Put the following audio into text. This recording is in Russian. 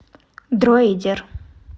дроидер